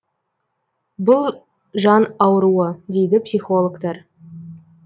бұл жан ауруы дейді психологтар